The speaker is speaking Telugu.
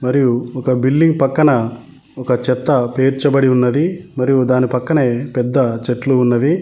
మరియు ఒక బిల్డింగ్ పక్కన ఒక చెత్త పేర్చబడి ఉన్నది మరియు దాని పక్కనే పెద్ద చెట్లు ఉన్నవి.